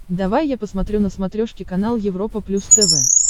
давай я посмотрю на смотрешке канал европа плюс тв